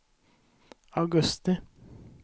augusti